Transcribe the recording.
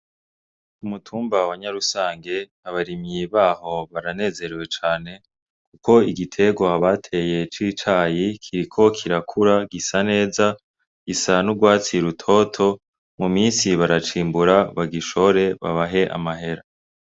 Umutumba wa Nyarusange abarimyi baho baranezerewe cane kuko igierwa bateye c'icayi kiriko kirakura gisa neza gisa n'urwatsi rutoto mu minsi baracimbura bagishore babahe amahera.